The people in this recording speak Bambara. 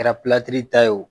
Kɛra ta ye o